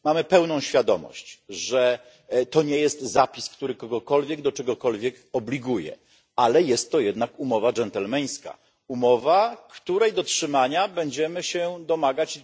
Mamy pełną świadomość, że to nie jest zapis, który kogokolwiek do czegokolwiek obliguje, ale jest to jednak dżentelmeńska umowa, umowa, której dotrzymania będziemy się domagać.